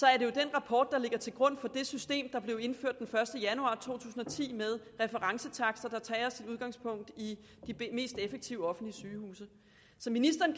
rapport der ligger til grund for det system der blev indført den første januar to tusind og ti med referencetakster der tager sit udgangspunkt i de mest effektive offentlige sygehuse så ministeren